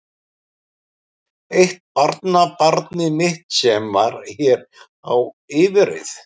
Eitt barnabarnið mitt sem var hér á yfirreið.